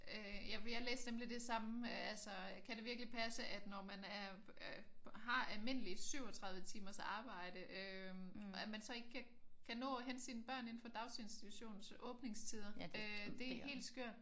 Ja for jeg læste nemlig det samme. Altså kan det virkelig passe at når man er har almindeligt 37 timers arbejde øh at man så ikke kan nå at hente sine børn indenfor daginstitutionens åbningstider? Øh det er helt skørt